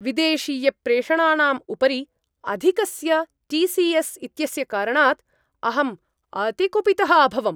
विदेशीयप्रेषणानाम् उपरि अधिकस्य T C S इत्यस्य कारणात् अहम् अतिकुपितः अभवम्।